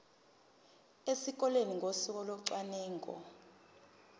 esikoleni ngosuku locwaningo